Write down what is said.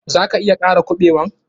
Za ka iya kara kuɓewan?